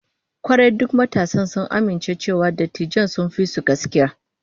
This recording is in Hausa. Kwarai, duk matasan sun amince cewa dattijan sun fi su gaskiya